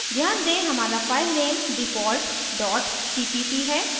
ध्यान दें हमारा file default dot cpp है